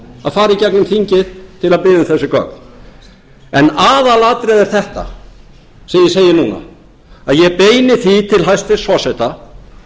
að fara í gegnum þingið til að biðja um þessi gögn en aðalatriðið er þetta sem ég segi núna að ég beini því til hæstvirts forseta